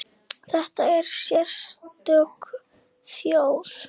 Þetta er sérstök þjóð.